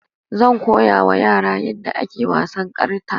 Zan koyawa yara yadda ake wasan karta